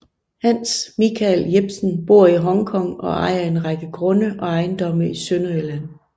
Hans Michael Jebsen bor i Hong Kong og ejer en række grunde og ejendomme i Sønderjylland